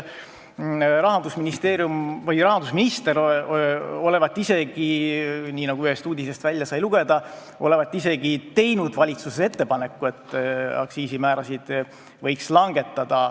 Rahandusminister olevat isegi, nii nagu ühest uudisest välja sai lugeda, teinud valitsuses ettepaneku, et aktsiisimäärasid võiks langetada.